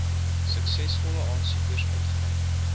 suksesvolle aansoekers uitgereik